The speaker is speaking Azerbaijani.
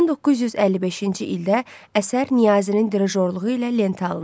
1955-ci ildə əsər Niyazinin dirijorluğu ilə lentə alınır.